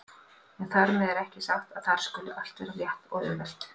En þar með er ekki sagt að þar skuli allt vera létt og auðvelt.